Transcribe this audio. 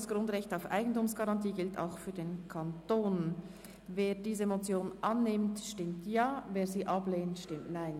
«Das Grundrecht auf Eigentumsgarantie gilt auch für den Kanton» Wer diese Motion annimmt, stimmt Ja, wer diese ablehnt, stimmt Nein.